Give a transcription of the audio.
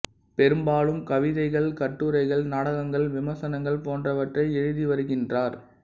பெரும்பாலும் கவிதைகள் கட்டுரைகள் நாடகங்கள் விமர்சனங்கள் போன்றவற்றை எழுதி வருகின்றார்